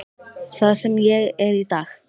Það sem ég er í dag.